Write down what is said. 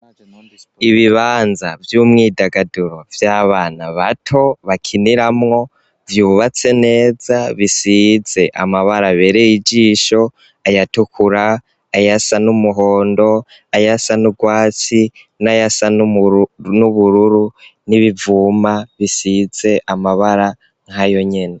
Ibibanza vy'umwidagaduro vy'abana bato bakiniramwo, vyubatse neza, bisize amabara abereye ijisho, ayatukura, ayasa n'umuhondo, ayasa n'urwatsi, n'ayasa n'ubururu, n'ibivuma bisize amabara nkayo nyene.